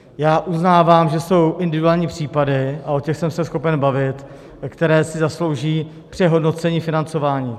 Já uznávám, že jsou individuální případy, a o těch jsem schopen se bavit, které si zaslouží přehodnocení financování.